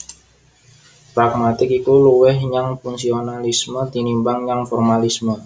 Pragmatik iku luwih nyang fungsionalisme tinimbang nyang formalisme